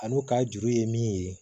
A n'u ka juru ye min ye